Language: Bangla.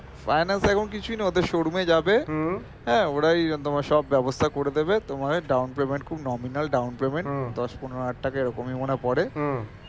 finance এখন কিছুই না ওদের showroom এ যাবে হ্যাঁ ওরাই তোমার সব ব্যবস্থা করে দেবে তোমায় down payment খুব nominal down payment দশ পনেরো হাজার টাকা এরকমই মনে হয়ে পরে